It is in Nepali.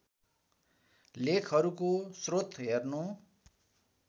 लेखहरूको स्रोत हेर्नु